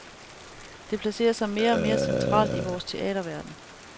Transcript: Det placerer sig mere og mere centralt i vores teaterverden.